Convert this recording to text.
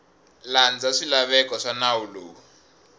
landza swilaveko swa nawu lowu